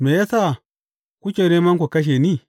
Me ya sa kuke nema ku kashe ni?